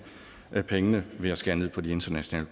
pengene ved at skære ned på de internationale